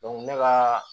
ne ka